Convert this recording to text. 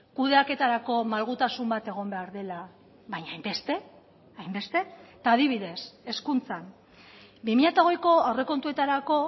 kudeaketarako malgutasun bat egon behar dela baina hainbeste hainbeste eta adibidez hezkuntzan bi mila hogeiko aurrekontuetarako